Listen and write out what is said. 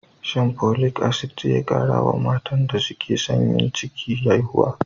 Shan Folic Asidic zai kara wa matan da suke son yin ciki haihuwa.